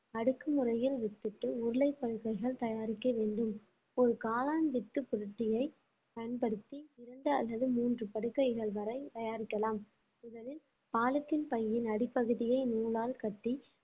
அடுக்கு முறையில் விட்டுட்டு உருளைப் படுக்கைகள் தயாரிக்க வேண்டும் ஒரு காளான் வித்து பயன்படுத்தி இரண்டு அல்லது மூன்று படுக்கைகள் வரை தயாரிக்கலாம் முதலில் பாலித்தீன் பையின் அடிப்பகுதியை நூலால் கட்டி